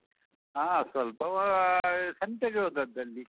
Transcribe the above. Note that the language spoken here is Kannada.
ಹಾ, ಸ್ವಲ್ಪ ಅಹ್ ಸಂತೆಗೆ ಹೋದದ್ದಲ್ಲಿ.